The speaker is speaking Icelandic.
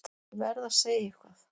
Ég verð að segja eitthvað.